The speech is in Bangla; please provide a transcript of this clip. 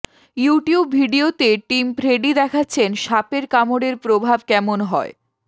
ইউটিউব ভিডিওতে টিম ফ্রেডি দেখাচ্ছেন সাপের কামড়ের প্রভাব কেমন হয়